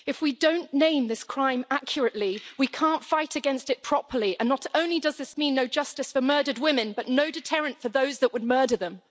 If we don't name this crime accurately, we can't fight against it properly, and not only does this mean no justice for murdered women but no deterrent for those that would murder them.